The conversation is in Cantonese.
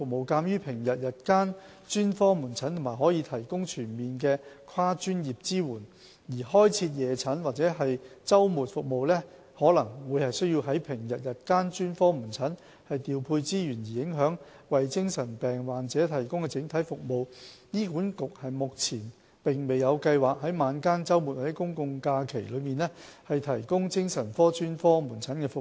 鑒於平日日間專科門診可提供全面的跨專業支援，而開設夜診或周末服務可能需要從平日日間專科門診調配資源而影響為精神病患者提供的整體服務，醫管局目前沒有計劃在晚間、周末或公眾假期提供精神科專科門診服務。